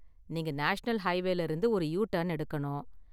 நீங்க நேஷனல் ஹைவேல இருந்து ஒரு யுடர்ன் எடுக்கணும்.